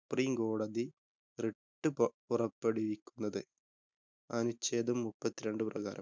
സുപ്രീംകോടതി writ പൊറ പുറപ്പെടുവിക്കുന്നത്. അനുച്ഛേദം മുപ്പത്തിരണ്ട് പ്രകാരം.